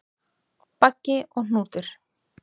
Baggi og Hnútur,